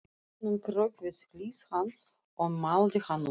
Konan kraup við hlið hans og mældi hann út.